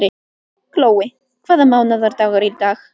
Glói, hvaða mánaðardagur er í dag?